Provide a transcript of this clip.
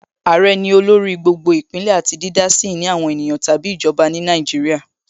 Àrẹ ní olórí gbogbo Ìpínlẹ̀ àti dídá sí ìní àwọn ènìyàn tàbí ìjọba ní Nàìjíríà